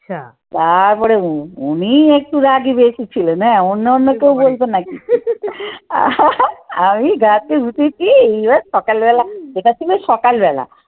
তারপরে উনি একটু রাগী বেশি ছিলেন হ্যা অন্য অন্য কেউ বলতো না কিছু আমি গাছে উঠেছি এইবার সকালবেলা, এটা ছিল সকালবেলা।